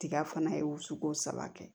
Tiga fana ye o sugu saba kɛ